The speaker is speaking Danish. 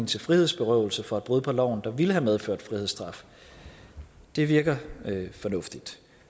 til frihedsberøvelse for et brud på loven der ville have medført frihedsstraf det virker fornuftigt